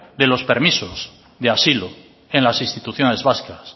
de los permisos de asilo en las instituciones vascas